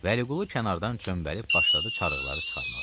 Vəliqulu kənardan çöməlib başladı çarıqları çıxarmağa.